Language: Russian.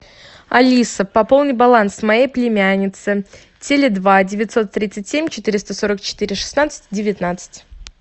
алиса пополни баланс моей племяннице теле два девятьсот тридцать семь четыреста сорок четыре шестнадцать девятнадцать